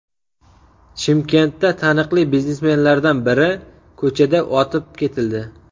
Chimkentda taniqli biznesmenlardan biri ko‘chada otib ketildi.